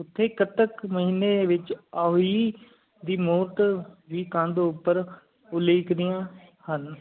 ਓਥੈ ਕੱਤਕ ਮਹਿਨੀ ਵਿਚ ਆ ਊਈਂ ਦੀ ਮੂਕ ਕਾਂਡ ਉਪਰ ਲੈਕਦੀਆਂ ਹਨ